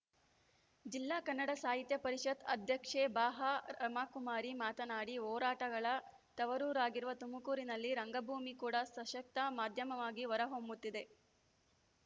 ಜಿಲ್ಲಾ ಕನ್ನಡ ಸಾಹಿತ್ಯ ಪರಿಷತ್ ಅಧ್ಯಕ್ಷೆ ಬಾಹ ರಮಾಕುಮಾರಿ ಮಾತನಾಡಿ ಹೋರಾಟಗಳ ತವರೂರಾಗಿರುವ ತುಮಕೂರಿನಲ್ಲಿ ರಂಗಭೂಮಿ ಕೂಡ ಸಶಕ್ತ ಮಾಧ್ಯಮವಾಗಿ ಹೊರ ಹೊಮ್ಮುತ್ತಿದೆ